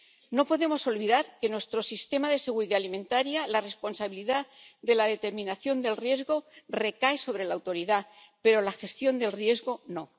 No podemos olvidar que nuestro sistema de seguridad alimentaria, la responsabilidad de la determinación del riesgo recae sobre la Autoridad, pero la gestión del riesgo no.